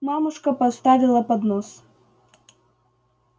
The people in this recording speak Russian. мамушка поставила поднос